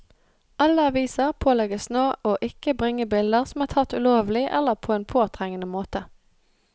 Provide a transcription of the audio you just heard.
Alle aviser pålegges nå å ikke bringe bilder som er tatt ulovlig eller på en påtrengende måte.